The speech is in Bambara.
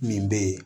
Min bɛ ye